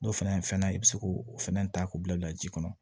N'o fɛnɛ fɛnna i bi se k'o fɛnɛ ta k'o bila bila ji kɔnɔ